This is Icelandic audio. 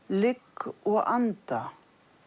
ligg og anda